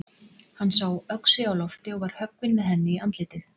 Hann sá öxi á lofti og var höggvinn með henni í andlitið.